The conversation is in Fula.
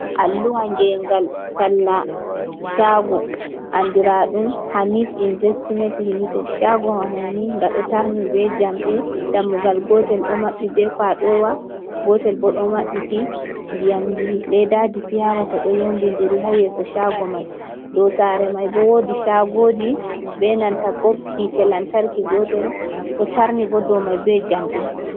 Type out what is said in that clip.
Alluha ngeengal talla caago, anndiraaɗum Hamit investimen limited. Caagowa may ni nga ɗo tarni be jamɗe, dammugal gootel ɗo maɓɓi be kooɗowa, gootel bo ɗo maɓɓiti. Ndiyamji leeddaaji piya wata, ɗo yowndindiri haa yeeso caago may. Dow saare may bo, woodi caagoji, be nanta bob yiite lantarki gootel, ɗo tarni bo, dow may be jamɗe.